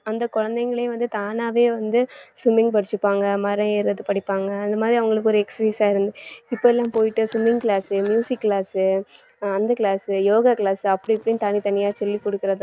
அந்த குழந்தைகளையும் வந்து தானாவே வந்து swimming படிச்சுப்பாங்க மரம் ஏறுறது படிப்பாங்க அந்த மாதிரி அவங்களுக்கு ஒரு exercise ஆ இருந்து இப்ப எல்லாம் போயிட்டு swimming class, music class அந்த class யோகா class அப்படி இப்படின்னு தனித்தனியா சொல்லிக் கொடுக்கிறதும்